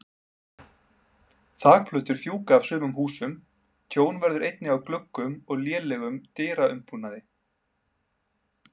Þakplötur fjúka af sumum húsum, tjón verður einnig á gluggum og lélegum dyraumbúnaði.